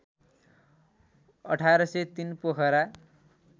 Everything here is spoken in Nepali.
१८३ पोखरा